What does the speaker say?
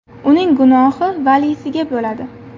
Uning gunohi valiysiga bo‘ladi”.